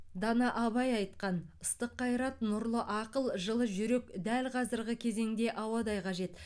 дана абай айтқан ыстық қайрат нұрлы ақыл жылы жүрек дәл қазіргі кезеңде ауадай қажет